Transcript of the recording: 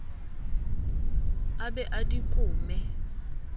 a be a di kome